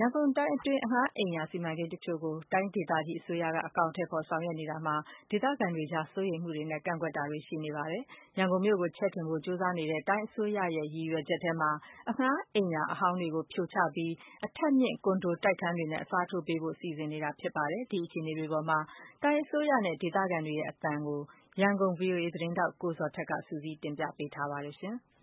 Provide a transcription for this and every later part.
ရန်ကုန်တိုင်းအတွင်း အငှားအိမ်ယာ စီမံကိန်းတချို့ကို တိုင်းဒေသကြီးအစိုးရက အကောင်အထည် ဖော်ဆောင်ရွက်နေတာမှာ ဒေသခံတွေကြား စိုးရိမ်မှုတွေနဲ့ ကန့်ကွက်တာတွေလည်း ရှိနေပါတယ်။ ရန်ကုန်မြို့ကို ချဲ့ထွင်ဖို့ကြိုးစားနေတဲ့ တိုင်းအစိုးရရဲ့ ရည်ရွယ်ချက်ထဲမှာ အရင်အငှားအိမ်ယာဟောင်းတွေကို ဖြိုချပြီး အထပ်မြင့် ကွန်ဒိုတိုက်ခန်းတွေနဲ့ အစားထိုးပေးဖို့ စီစဉ်ဆောင်ရွက်နေတာပါ။ ဒီအခြေအနေနဲ့ပတ်သတ်ပြီး တိုင်းအစိုးရနဲ့ ဒေသခံတွေရဲ့ အသံကို ရန်ကုန်ဗွီအိုအေ သတင်းထောက် ကိုဇော်ထက်က စုစည်း တင်ပြပေးထားပါတယ်။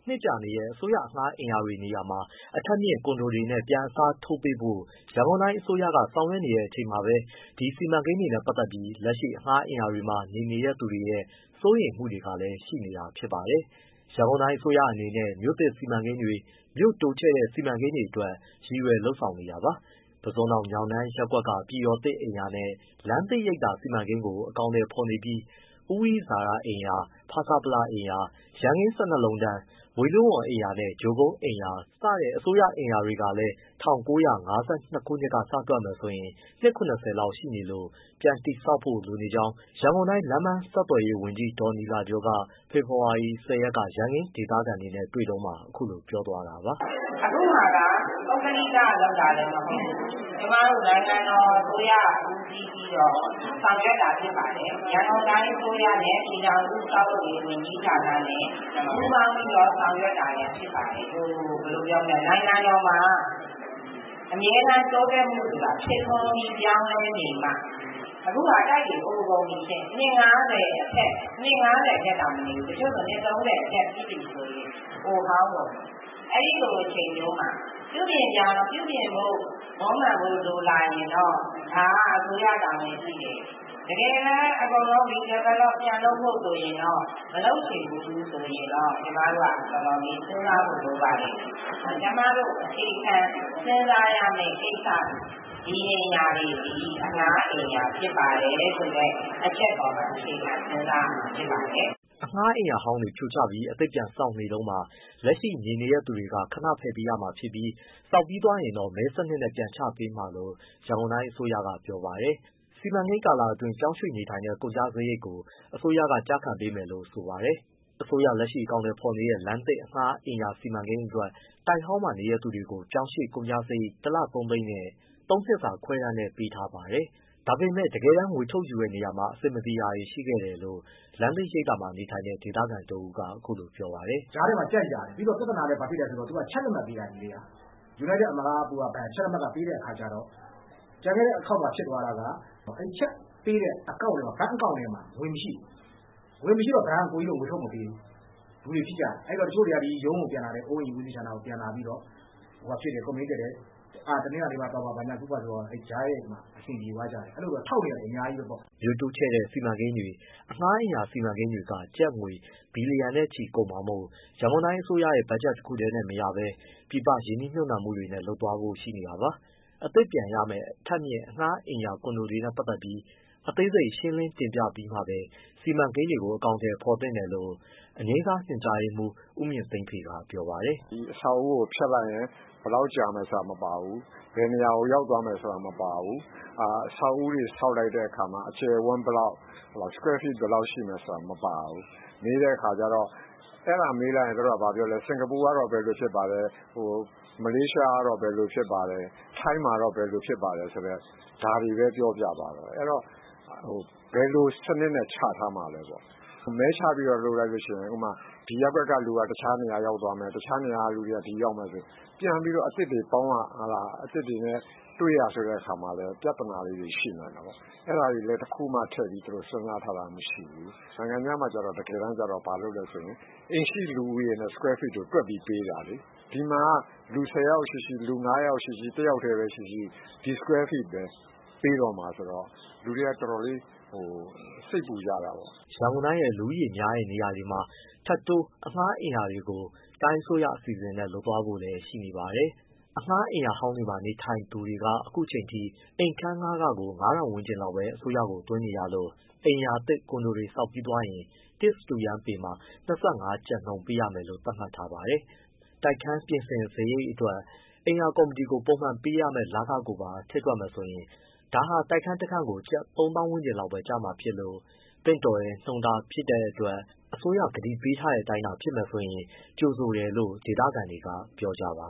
နှစ်ကြာနေတဲ့ အစိုးရအငှားအိမ်ရာတွေနေရာမှာ အထပ်မြင့်ကွန်ဒိုတွေနဲ့ပြန်အစားထိုးပေးဖို့ ရန်ကုန်တိုင်းအစိုးရကဆောင်ရွက်နေတဲ့အချိန်မှာပဲ ဒီစီမံကိန်းတွေနဲ့ ပတ်သတ်ပြီး လက်ရှိအငှားအိမ်ရာတွေမှာနေနေတဲ့ သူတွေရဲ့ စိုးရိမ်မှုတွေကလည်း ရှိနေတာဖြစ်ပါတယ်။ ရန်ကုန်တိုင်းအစိုးရအနေနဲ့ မြို့သစ်စီမံကိန်းတွေ၊ မြို့တိုးချဲ့စီမံကိန်းတွေအတွက် ရည်ရွယ်လုပ်ဆောင်နေတာပါ။ ပုစွန်တောင် ညောင်တန်းရပ်ကွက်က ပြည်တော်သစ် အိမ်ရာနဲ့ လမ်းသစ်ရိပ်သာစီမံကိန်းကို အကောင်အထည်ဖော်နေပြီး ဦးဝိစာရအိမ်ရာ၊ ဖဆပလအိမ်ရာ၊ ရန်ကင်း၁၂လုံးတန်း၊ ဝေဠုဝန်ရပ်ကွက်နဲ့ ကြို့ကုန်း အိမ်ရာ စတဲ့အစိုးရ အငှားအိမ်ရာတွေကလည်း ၁၉၅၂ ခုနှစ်ကစတွက်မယ်ဆိုရင် နှစ် ၇၀လောက်ရှိနေလို့ ပြန်တည်ဆောက်ဖို့ လိုနေကြောင်း ရန်ကုန်တိုင်း လမ်းပမ်းဆက်သွယ်ရေး ဝန်ကြီး ဒေါ်နီလာကျော်က ဖေဖော်ဝါရီ ၁၀ရက်က ရန်ကင်းဒေသခံတွေနဲ့ တွေ့တုန်းမှာအခုလိုပြောသွားတာပါ။ “အခုဟာက ပုဂ္ဂလိက,က လုပ်တာလည်းမဟုတ်ဘူး ကျမတို့နိုင်ငံတော်အစိုးရက ဦးစီးပြီးတော့ ဆောင်ရွက်တာ ဖြစ်ပါတယ်။ ရန်ကုန်တိုင်းအစိုးရနဲ့ ပြည်ထောင်စု ဆောက်လုပ်ရေးဝန်ကြီးဌာနနဲ့ ပူးပေါင်းပြီး ဆောင်ရွက်တာလည်းဖြစ်ပါတယ်။ နိုင်ငံတော်မှာ အမြဲတမ်း တိုးတက်မှုဆိုတာဖြစ်ထွန်းပြီး ပြောင်းလဲနေမှ။ အခုကတိုက်တွေအိုနေပြီရှင့် နှစ်၅၀အထက်တောင်မနေဘူး၊ တချို့ဆိုရင် နှစ်၃၀အထက်ပြည့်ပြီဆိုရင် အိုဟောင်းကုန်ပြီ။ အဲဒီလို အချိန်မျိုးမှာ ပြုပြင်ဖို့မွမ်းမံဖို့လိုလာရင်တော့ ဒါအစိုးရတာဝန်ရှိတယ်၊ တကယ်တမ်း redevelop ပြန်လုပ်ဖို့ဆိုရင်တော့ မလုပ်ချင်ဘူးဆိုရင်တော့ ကျမတို့က တော်တော်လေးစဉ်းစားဖို့လိုပါတယ်။ ကျမတို့ အခြေခံစဉ်းစားရမယ့်ကိစ္စသည် ဒီအိမ်ရာတွေသည် အငှားအိမ်ရာဖြစ်ပါတယ်ဆိုတဲ့ အချက်ပေါ်မှာ အခြေခံ စဉ်းစားရမှာ ဖြစ်ပါတယ်။” အငှားအိမ်ရာဟောင်းတွေဖြိုချပြီး အသစ်ပြန်ဆောက်နေတုန်းမှာ လက်ရှိနေနေတဲ့သူတွေက ခဏဖယ်ပေးရမှာဖြစ်ပြီး ဆောက်ပြီးသွားရင်တော့ မဲစနစ်နဲ့ ပြန်ချပေးမှာလို့ ရန်ကုန်တိုင်းအစိုးရကပြောပါတယ်။ စီမံကိန်းကာလအတွင်း ပြောင်းရွှေ့နေထိုင်တဲ့ ကုန်ကျစရိတ်ကို အစိုးရကကျခံပေးမယ်လို့ဆိုပါတယ်။ အစိုးရလက်ရှိ အကောင်အထည်ဖော်နေတဲ့ လမ်းသစ်အငှားအိမ်ရာစီမံကိန်းအတွက် တိုက်ဟောင်းမှာနေတဲ့သူတွေကို ပြောင်းရွှေ့ကုန်ကျစရိတ်တစ်လ ၃သိန်းနဲ့ သုံးနှစ်စာခွဲတမ်းနဲ့ပေးထားပါတယ်။ ဒါပေမဲ့ တကယ်တမ်း ငွေထုတ်ယူတဲ့နေရာမှာ အဆင်မပြေတာတွေရှိခဲ့တယ်လို့ လမ်းသစ်ရိပ်သာမှာ နေထိုင်တဲ့ ဒေသခံတစ်ဦးက အခုလိုပြောပါတယ်။ “ကြားထဲမှာ ကြန့်ကြာနေတယ် ပြီးတော့ ပြဿနာက ဘာဖြစ်လဲဆိုတော့ သူက ချက်လက်မှတ်ပေးတာ။ ယူနိုက်တက်အမရဘဏ်ကနေ ချက်လက်မှတ် ပေးတဲ့အခါကျတော့ ကျန်ခဲ့တဲ့အခေါက်မှာ ဖြစ်သွားတာက အဲဒီချက် ပေးတဲ့ ဘဏ်အကောင့်ထဲမှာ ငွေမရှိဘူး။ ငွေမရှိတော့ အစ်ကိုတို့ကို ဘဏ်ကငွေထုတ်မပေးဘူး။ အဲဒီတော့တချို့က ဒီအိုးအိမ်ဦးစီးဌာနကိုပြန်လာပြီးတော့ complain တက်တယ်။ အဲဒါနဲ့ တနင်္လာနေ့မှာသွားပါ ဘာညာဆိုတော့ ကြားရက်တွေမှာ အဆင်ပြေသွားကြတယ်။ အဲဒီလိုထောက်နေတာတွေအများကြီးပဲပေါ့။” မြို့တိုးချဲ့တဲ့စီမံကိန်းတွေ၊ အငှားအိမ်ယာစီမံကိန်းတွေက ကျပ်ငွေဘီလီယံချီကုန်မှာမို့ ရန်ကုန်တိုင်းအစိုးရဘက်ဂျက်တခုတည်းနဲ့မရဘဲ ပြည်ပရင်းနှီးမြှုပ်နှံမှု နဲ့လုပ်သွားဖို့ရှိနေတာပါ။ အသစ်ပြန်ရမယ့် အထပ်မြင့်အငှားအိမ်ယာ ကွန်ဒိုတွေနဲ့ပတ်သတ်ပြီး လက်ရှိနေထိုင်နေတဲ့သူတွေကို အသေးစိတ်ရှင်းလင်းပြပြီးမှ စီမံကိန်းတွေကိုအကောင်အထည်ဖော်သင့်တယ်လို့ လို့ အငြိမ်းစားညွှန်ကြားရေးမှူး ဦးမြင့်သိန်းဖေ က ပြောပါတယ်။ “ဒီအဆောက်အဦကိုဖျက်လိုက်ရင် ဘယ်လောက်ကြာမယ်ဆိုတာမပါဘူး။ ဘယ်နေရာ ရောက်သွားမယ်ဆိုတာမပါဘူး။ အဆောက်အဦတွေ ဆောက်လိုက် တဲ့အခါမှာ အကျယ်အဝန်းဘယ်လောက် square feet ဘယ်လောက်ဆိုတာမပါဘူး။ မေးတဲ့အခါကျတော့ စင်္ကာပူကတော့ ဘယ်လိုဖြစ်ပါတယ် မလေးရှား ကတော့ဘယ်လိုဖြစ်ပါတယ်၊ ထိုင်းမှာတော့ဘယ်လိုဖြစ်ပါတယ်၊ ဒါတွေပဲပြောပြသွားတယ်။ အဲဒီတော့ ဘယ်လိုစနစ်နဲ့ချထားမှာလဲပေါ့။ မဲချပြီးတော့ လုပ်မယ်ဆိုရင် ဒီရပ်ကွက်ကလူကတခြားနေရာရောက်သွားမယ်၊ တခြားနေရာကသူတွေက ဒီရောက်မယ်ဆိုရင် ပြန်ပြီးတော့ အသစ်တွေပေါင်းရ၊ အသစ် တွေနဲ့ တွေ့ရဆိုတဲ့အခါမှာလည်း ပြဿနာလေးတွေရှိနိုင်တာပေါ့။ အဲဒါတွေလည်း တခုမှထည့်ပြီး သူတို့စဉ်းစားထားတာမရှိဘူး။ နိုင်ငံခြားမှာကျတော့ တကယ်တမ်းကျတော့ အိမ်ရှိလူဦးရေနဲ့ square feet ကိုတွက်ပြီးပေးတာလေ။ ဒီမှာက လူဆယ်ယောက်ရှိရှိ၊ လူငါးယောက်ရှိရှိ၊ တယောက်တည်းပဲရှိရှိ ဒီ square feet ပဲ ပေးတော့မှာဆိုတော့ လူတွေကတော်တော်လေး စိတ်ပူကြတာပေါ့။” ရန်ကုန်တိုင်းရဲ့ လူဦးရေများတဲ့နေရာတွေမှာ ထပ်တိုးအငှားအိမ်ယာတွေကို တိုင်းအစိုးရအစီအစဉ်နဲ့လုပ်သွားဖို့လည်းရှိ နေပါတယ်။ အငှားအိမ်ရာ ဟောင်းမှာနေတဲ့သူတွေက အခုအချိန်ထိ အိမ်ခန်းငှားခကို ငါးထောင်ဝန်းကျင်လောက်ပဲ အစိုးရကိုသွင်းရလို့ အိမ်ယာသစ်ကွန်ဒိုတွေဆောက်ပြီးသွားရင် တစ်စတုရန်းပေမှာ ၂၅ ကျပ်နှုန်းပေးရမယ်လို့ သတ်မှတ်ထားပါတယ်။ တိုက်ခန်းပြင်ဆင်စရိတ်အတွက် အိမ်ရာကော်မတီကို ပုံမှန်ပေးရမယ့်လခလည်း ရှိနိုင်ပြီး ဒါဟာတိုက်ခန်းတစ်ခန်းကို ကျပ်သုံးသောင်းဝန်းကျင်လောက်ပဲကျမှာဖြစ်လို့ သင့်တော်တဲ့နှုန်းတားဖြစ်တဲ့အတွက် အစိုးရကတိပေးတဲ့အတိုင်းသာ ဖြစ်မယ်ဆိုရင်တော့ ကြိုဆိုတယ်လို့ ဒေသခံတွေက ပြောဆိုကြပါ